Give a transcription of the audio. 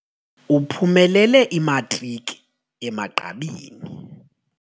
Uphumelele imatriki emagqabini.